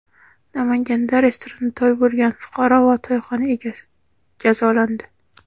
Namanganda restoranda to‘y qilgan fuqaro va to‘yxona egasi jazolandi.